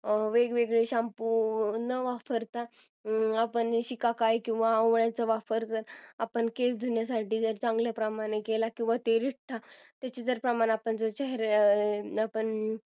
वेगळे shampoo न वापरता आपण शिका काही किंवा आवळ्याचा वापर आपण केस धुण्यासाठी जर चांगल्या प्रमाणात केला त्याचे प्रमाण आपण चेहऱ्याला